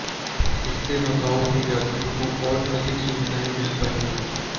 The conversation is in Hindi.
इससे मकाओ में यात्रियों को और अधिक सुविधाएं मिल पाएंगी